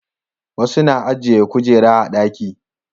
wasu na ajiye kujera a ɗaki